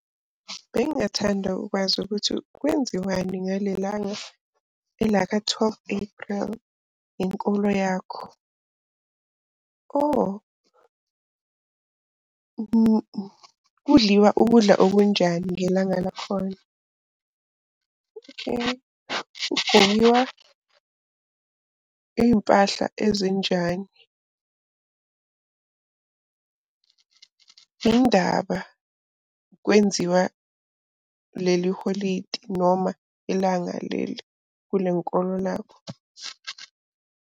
Bengingathanda ukwazi ukuthi kwenziwani ngale langa elaka-twelve April, ngenkolo yakho. Oh, kudliwa ukudla okunjani ngelanga lakhona? Okay, kugqokiwa iy'mpahla ezinjani? Yini ndaba kwenziwa leli holidi noma ilanga leli kule nkolo lakho?